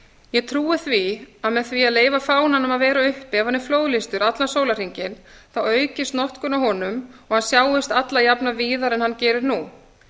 ég trúi því að með því að leyfa fánanum að vera uppi ef hann er flóðlýstur allan sólarhringinn aukist notkun á honum og hann sjáist alla jafna víðar en hann gerir nú